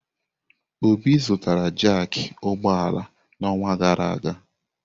Obi zụtara jaaki ụgbọ ala n'ọnwa gara aga.